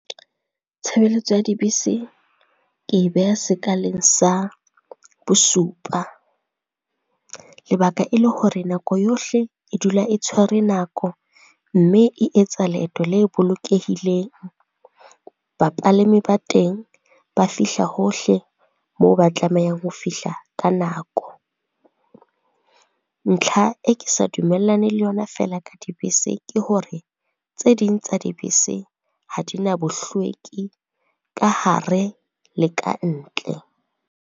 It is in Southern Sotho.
Tshebeletso ya dibese, ke e beha sekaleng sa bosupa. Lebaka e le hore nako yohle e dula e tshwere nako mme e etsa leeto le bolokehileng. Bapalami ba teng ba fihla hohle moo ba tlamehang ho fihla ka nako. Ntlha e ke sa dumellane le yona feela ka dibese, ke hore tse ding tsa dibese ha di na bohlweki, ka hare le ka ntle.